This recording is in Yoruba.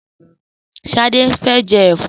Sadé fẹ́ jẹ ẹ̀fọ́.